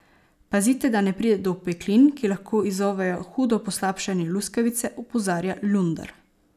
Pazite, da ne pride do opeklin, ki lahko izzovejo hudo poslabšanje luskavice, opozarja Lunder.